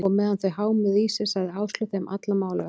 Og meðan þau hámuðu í sig, sagði Áslaug þeim alla málavexti.